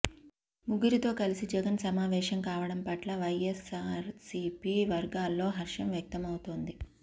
ముగ్గురితో కలిసి జగన్ సమావేశం కావడం పట్ల వైఎస్సార్సీపీ వర్గాల్లో హర్షం వ్యక్తమవుతోంది